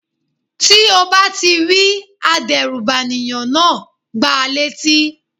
Tí o bá ti rí adérùbànìyàn náà, gba létí.